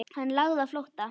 Hann lagði á flótta.